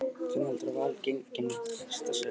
Hvernig heldurðu að Val gangi næsta sumar?